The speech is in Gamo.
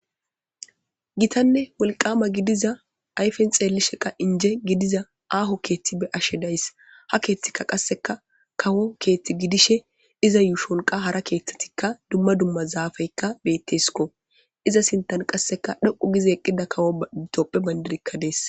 Gitane wolqama gidiza ayfen xelinka lo'iza aho kethi be'ashe de'aysi ha kethika qaseka kawo kethi gidishe iza yuushon qaseka hara kethatika dumma dumma zafeyka betesko iza sinthan qase dhoqu gida kawo bandiray des